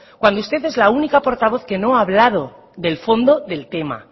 cuando usted es la única portavoz que no ha hablado del fondo del tema